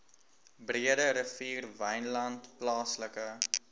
breederivier wynland plaaslike